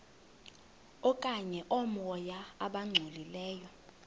okanye oomoya abangcolileyo